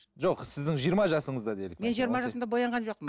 жоқ сіздің жиырма жасыңызда делік мен жиырма жасымда боянған жоқпын